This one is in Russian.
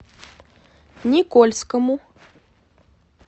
никольскому